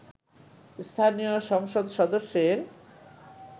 স্থানীয় সংসদ সদস্যের